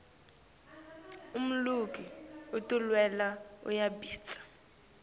umluki tinwelwe uyabita